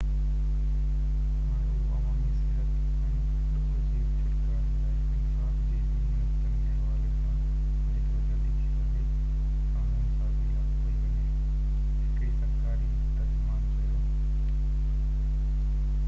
هاڻي اهو عوامي صحت ۽ ڏوهہ جي ڇوٽڪاري لاءِ انصاف جي ٻني نقطن جو حوالي سان جيترو جلدي ٿي سگهي قانون سازي لاڳو ڪئي وڃي هڪڙي سرڪاري ترجمان چيو